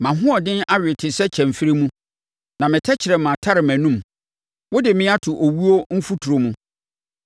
Mʼahoɔden awe te sɛ kyɛmferɛ mu. Na me tɛkrɛma atare mʼanom. Wode me ato owuo mfuturo mu.